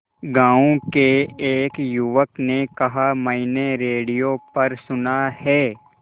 गांव के एक युवक ने कहा मैंने रेडियो पर सुना है